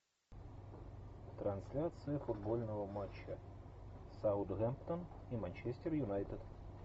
трансляция футбольного матча саутгемптон и манчестер юнайтед